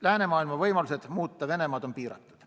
Läänemaailma võimalused muuta Venemaad on piiratud.